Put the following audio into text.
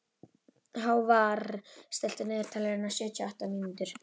Hávarr, stilltu niðurteljara á sjötíu og átta mínútur.